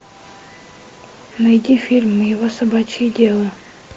найди фильм его собачье дело